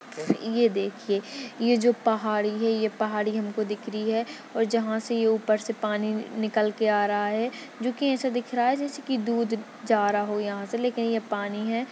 ये देखिये ए जो पहाड़ी हे ये पहाड़ी हमको दिख रही है और जहा से ये उपर से पानी निकल के आ रहा है जोकि एसे दिख रहा है जैसे की दूध जा रहा हो यहा से लेकिन ये पानी है।